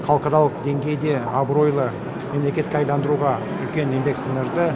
халықаралық деңгейде абыройлы мемлекетке айналдыруға үлкен еңбек сіңірді